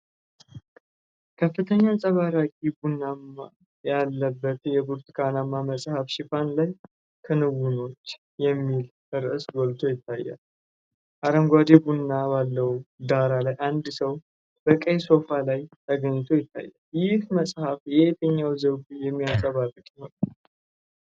ከፍተኛ አንጸባራቂ ብናኝ ያለበት የብርቱካናማ መጽሐፍ ሽፋን ላይ “ክንውኖች” የሚል ርዕስ ጎልቶ ይታያል። አረንጓዴ ብናኝ ባለው ዳራ ላይ አንድ ሰው በቀይ ሶፋ ላይ ተኝቶ ይታያል። ይህ መጽሐፍ የትኛውን ዘውግ የሚያንፀባርቅ ይሆን?